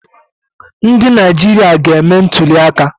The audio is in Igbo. Ndị Naijiria ga-eme ntụliaka